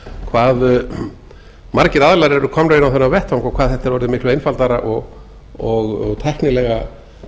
hvað margir aðilar eru komnir inn á þennan vettvang og hvað þetta er orðið miklu einfaldara og tæknilega